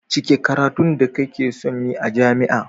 cike karatun da ka keson Yi a jami a